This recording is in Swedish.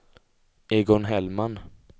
Egon Hellman